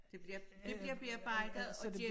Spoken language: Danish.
Det bliver det bliver bearbejdet og det